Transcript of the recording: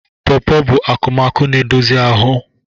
Pọpọ bụ akụmakụ na-edozi anụ ahụ.